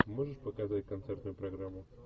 можешь показать концертную программу